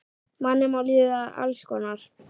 Manni má líða alls konar.